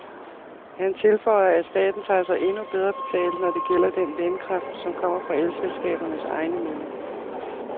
Han tilføjer, at staten tager sig endnu bedre betalt, når det gælder den vindkraft, som kommer fra elselskabernes egne møller.